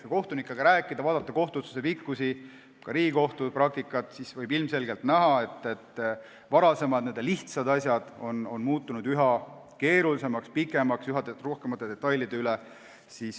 Kui kohtunikega rääkida ja vaadata kohtuotsuste pikkust, ka Riigikohtu praktikat, siis võib ilmselgelt näha, et varasemad n-ö lihtsad asjad on muutunud üha keerulisemaks, pikemaks, üha rohkem vaieldakse detailide üle.